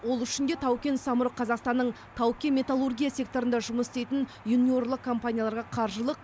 ол үшін де тау кен самұрық қазақстанның тау кен металлургия секторында жұмыс істейтін юниорлық компанияларға қаржылық